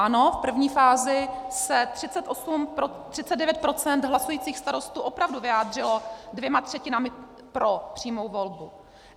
Ano, v první fázi se 39 % hlasujících starostů opravdu vyjádřilo dvěma třetinami pro přímou volbu.